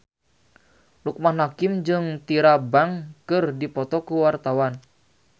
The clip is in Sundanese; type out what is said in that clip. Loekman Hakim jeung Tyra Banks keur dipoto ku wartawan